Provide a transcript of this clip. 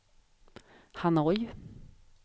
Hanoi